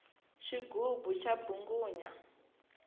xigubu xa mbvungunya